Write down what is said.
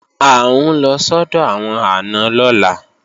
À ń lọ sọ́dọ̀ àwọn àna lọ́la